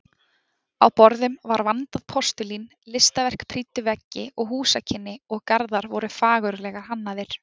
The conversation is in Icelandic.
Á borðum var vandað postulín, listaverk prýddu veggi og húsakynni og garðar voru fagurlega hannaðir.